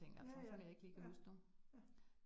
Ja ja, ja, ja